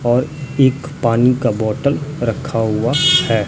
और एक पानी का बॉटल रखा हुआ है।